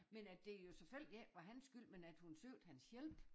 Men at det jo selvfølgelig ikke var hans skyld men at hun søgte hans hjælp